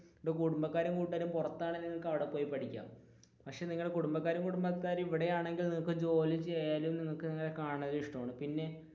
കുടുംബക്കാരും കൂട്ടുകാരും പുറത്താണെങ്കിൽ നിങ്ങൾക്ക് അവിടെ പോയി പഠിക്കാം പക്ഷെ നിങ്ങളുടെ കുടുംബക്കാരും കൂട്ടുകാരും ഇവിടെയാണെങ്കിൽ